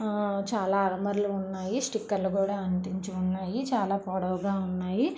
ఆ చాలా అలమరలు ఉన్నాయి స్టిక్కర్లు కూడా అంటించి ఉన్నాయి చాలా పొడవుగా ఉన్నాయి.